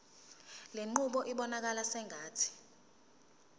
lenqubo ibonakala sengathi